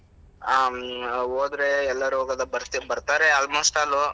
ಹ್ಮ್‌ ಹೋದ್ರೆ ಎಲ್ಲಾರು ಹೋಗೋದಾ ಬರ್ತಿ~ ಬರ್ತಾರೆ almost all .